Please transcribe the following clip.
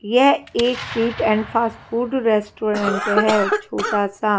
यह एक sweet and fast food restaurant है छोटा सा।